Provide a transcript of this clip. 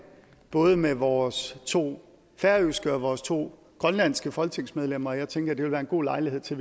både med vores to færøske og vores to grønlandske folketingsmedlemmer og jeg tænker at det vil være en god lejlighed til